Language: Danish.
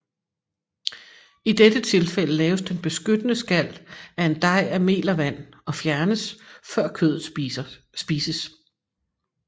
I dette tilfælde laves den beskyttende skal af en dej af mel og vand og fjernes før kødet spises